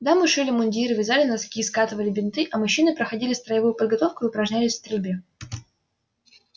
дамы шили мундиры вязали носки скатывали бинты а мужчины проходили строевую подготовку и упражнялись в стрельбе